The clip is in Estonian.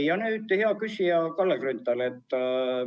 Ja nüüd, hea küsija Kalle Grünthal!